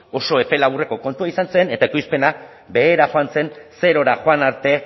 oso epe laburreko kontua izan zen eta ekoizpena behera joan zen zerora joan arte